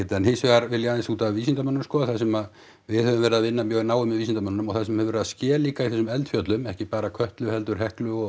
en hins vegar vil ég aðeins út af vísindamönnunum sko þar sem við höfum verið að vinna mjög náið með vísindamönnunum og það sem hefur verið að ske líka í þessum eldfjöllum ekki bara Kötlu heldur Heklu og